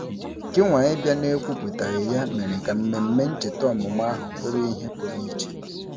Gịnwa ịbịa n'ekwuputaghị ya mere ka mmemme ncheta ọmụmụ ahụ bụrụ ihe pụrụ iche.